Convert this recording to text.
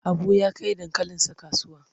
Habu ya kai dankalinsa kasuwa.